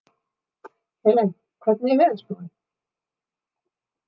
Helen, hvernig er veðurspáin?